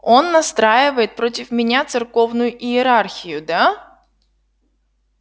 он настраивает против меня церковную иерархию да